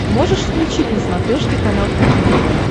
можешь включить на смотрешке канал кухня тв